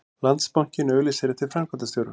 Landsbankinn auglýsir eftir framkvæmdastjórum